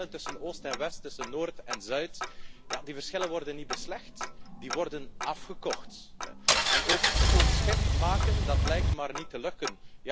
De verschillen tussen Oost en West, tussen Noord en Zuid, die verschillen worden niet beslecht, die worden afgekocht. Ook schoon schip maken lijkt maar niet te lukken.